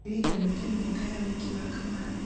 kĩririkano kĩa mĩaka ya ũhiki wa kamande